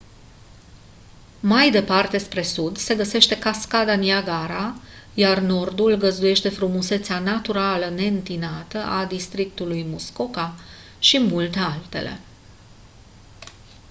mai departe spre sud se găsește cascada niagara iar nordul găzduiește frumusețea naturală neîntinată a districtului muskoka și multe altele